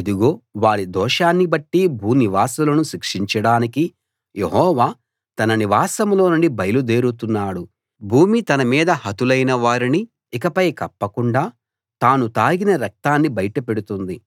ఇదిగో వారి దోషాన్ని బట్టి భూనివాసులను శిక్షించడానికి యెహోవా తన నివాసంలోనుండి బయలు దేరుతున్నాడు భూమి తన మీద హతులైన వారిని ఇకపై కప్పకుండా తాను తాగిన రక్తాన్ని బయట పెడుతుంది